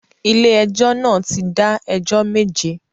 Ilé ẹjọ́ náà ti dá ẹjọ́ méje